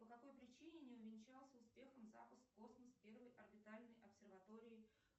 по какой причине не увенчался успехом запуск в космос первой орбитальной обсерватории